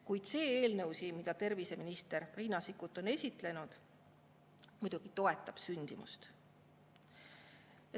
Kuid see eelnõu, mida terviseminister Riina Sikkut on esitlenud, muidugi toetab sündimust.